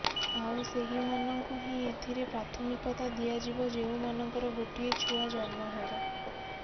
ଆଉ ସେହିମାନଙ୍କୁ ହିଁ ଏଥିରେ ପ୍ରାଥମିକତା ଦିଆଯିବ ଯେଉଁମାନଙ୍କର ଗୋଟିଏ ଛୁଆ ଜନ୍ମ ହେବ